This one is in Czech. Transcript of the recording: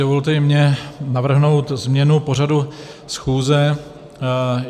Dovolte i mně navrhnout změnu pořadu schůze.